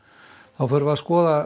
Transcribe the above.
þá förum við að skoða